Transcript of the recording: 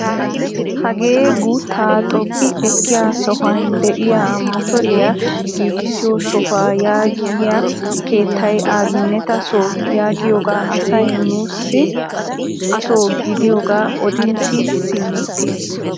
Hagee guuttaa xoqqi ekkiyaa sohuwaan de'iyaa motoriyaa giigisiyoo sohuwaa yaagiyaa keettay abineeta soo yaagiyoogaa asay nuusi asoo gidiyoogaa odin siyi simeettees.